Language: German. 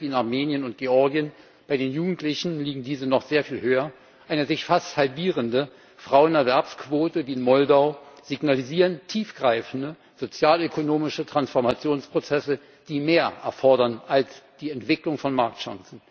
in Armenien und Georgien bei den Jugendlichen liegen diese noch sehr viel höher und eine sich fast halbierende Frauenerwerbsquote wie in Moldau signalisieren tiefgreifende sozialökonomische Transformationsprozesse, die mehr erfordern als die Entwicklung von Marktchancen.